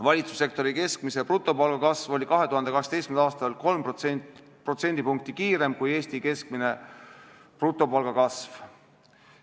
Valitsussektori keskmise ja brutopalga kasv oli 2018. aastal 3% võrra suurem kui Eesti keskmine brutopalga kasv.